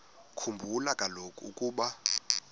khumbula kaloku ukuba